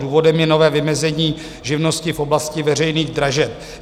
Důvodem je nové vymezení živnosti v oblasti veřejných dražeb.